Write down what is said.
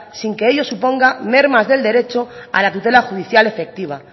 sin que ello suponga mermas del derecho a la tutela judicial efectiva